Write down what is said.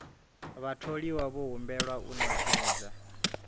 vhatholiwa vho humbelwa u ṅetshedza